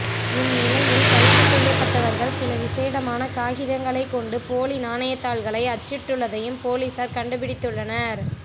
இந்நிலையில் கைதுசெய்யப்பட்டவர்கள் சில விசேடமான காகிதங்களை கொண்டு போலி நாணயத்தாள்களை அச்சிட்டுள்ளதையும் பொலிஸார் கண்டுபிடித்துள்ளனர்